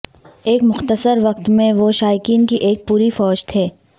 ایک مختصر وقت میں وہ شائقین کی ایک پوری فوج تھے